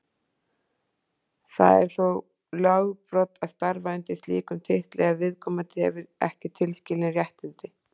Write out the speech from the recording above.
Það er þá lögbrot að starfa undir slíkum titli ef viðkomandi hefur ekki tilskilin réttindi.